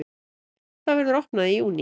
Það verður opnað í júní.